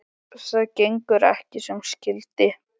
Það gengur ekki sem skyldi.